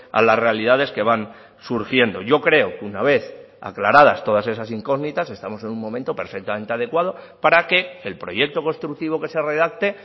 a las realidades que van surgiendo yo creo que una vez aclaradas todas esas incógnitas estamos en un momento perfectamente adecuado para que el proyecto constructivo que se redacte